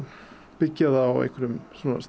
byggja það á einhverjum